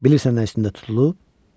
Bilirsən nə üstündə tutulub?